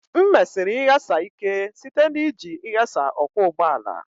M mesiri ịghasa ike site na iji ịghasa ọkwọ ụgbọala